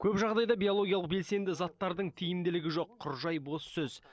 көп жағдайда биологиялық белсенді заттардың тиімділігі жоқ құр жай бос сөз